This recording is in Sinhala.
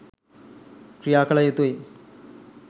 ක්‍රියාකළ යුතුයි.